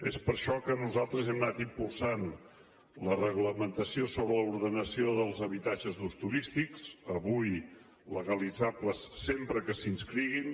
és per això que nosaltres hem anat impulsant la reglamentació sobre l’ordenació dels habitatges d’ús turístic avui legalitzables sempre que s’hi inscriguin